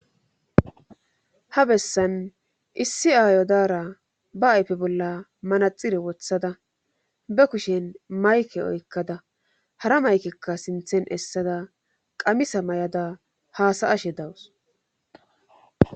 ha bessan issi aayodaara ba ayfe bolla manaxire wothada ba kushen mayke oykkada hara maykekka sinthen essada qamisa may7ada haasaashe dawus